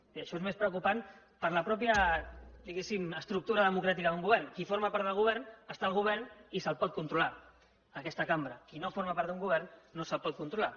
i això és més preocupant per la mateixa diguéssim estructura democràtica d’un govern qui forma part del govern està al govern i se’l pot controlar en aquesta cambra qui no forma part d’un govern no se’l pot controlar